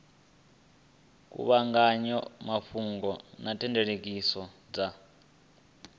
kuvhanganya mafhungo na thekhinolodzhi dza